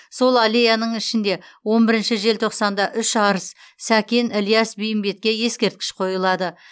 сол аллеяның ішінде он бірінші желтоқсанда үш арыс сәкен ілияс бейімбетке ескерткіш қойылады